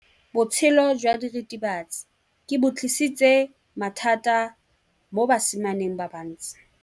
Botshelo jwa diritibatsi ke bo tlisitse mathata mo basimaneng ba bantsi.